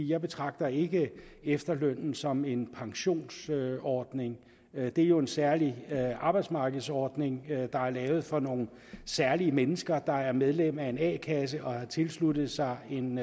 jeg betragter ikke efterlønnen som en pensionsordning det er jo en særlig arbejdsmarkedsordning der er lavet for nogle særlige mennesker der er medlem af en a kasse og som har tilsluttet sig en